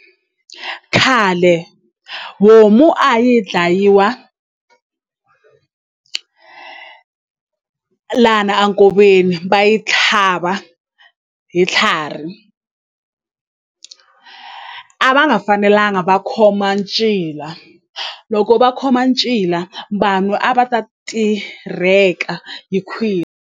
Khale homu a yi dlayiwa lana a nkoveni va yi tlhava hi tlharhi a va nga fanelanga va khoma ncila loko va khoma ncila vanhu a va ta tirheka hi .